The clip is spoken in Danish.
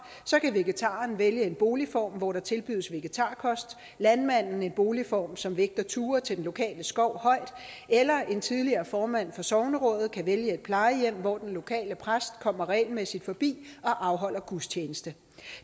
så kan vegetaren vælge en boligform hvor der tilbydes vegetarkost landmanden kan vælge en boligform som vægter ture til den lokale skov højt eller en tidligere formand for sognerådet kan vælge et plejehjem hvor den lokale præst kommer regelmæssigt forbi og afholder gudstjeneste